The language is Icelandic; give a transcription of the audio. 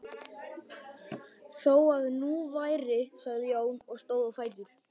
Þó það nú væri, svaraði Jón og stóð á fætur.